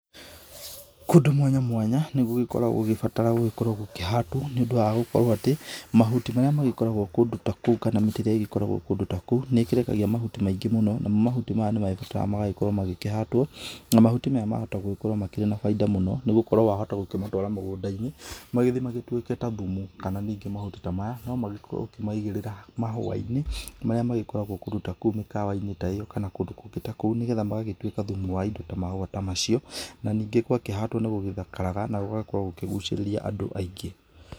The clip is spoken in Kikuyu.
Kũndũ mwanya mwanya, nĩ gũgĩkoragwo gũgĩbatara gũkorwo gũkĩhatwo nĩ ũndũ wa gũkorwo atĩ, mahuti marĩa magĩkoragwo kũndũ ta kũu kana mĩtĩ ĩrĩa ĩgĩkoragwo kũndũ ta kũu nĩ ĩrekagia mahuti maingĩ mũno na mo mahuti maya nĩ mebutaga magagĩkorwo makĩhatwo na mahuti maya mahota gũkorwo na bainda mũno nĩgũkorwo wa hota gũkĩmatwara mũgũnda-inĩ magĩthiĩ matuĩke ta thumu, kana ningĩ mahuti ta maya no magĩkorwo ũkĩmaigĩrĩra mahũa-inĩ marĩa magĩkorwo kũndũ ta mĩkawa-inĩ ta ĩ yo kana kũndũ kũngĩ ta kũu nĩgetha magagĩtuĩka thumu wa indo ta mahũa ta macio, na ningĩ gwakĩhandwo nĩ gũthakaraga na gũgakorwo gũkĩgucĩrĩrĩa andũ aingĩ.